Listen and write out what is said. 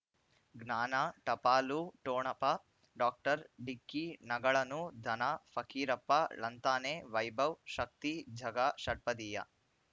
ಜ್ಞಾನ ಟಪಾಲು ಠೊಣಪ ಡಾಕ್ಟರ್ ಢಿಕ್ಕಿ ಣಗಳನು ಧನ ಫಕೀರಪ್ಪ ಳಂತಾನೆ ವೈಭವ್ ಶಕ್ತಿ ಝಗಾ ಷಟ್ಪದಿಯ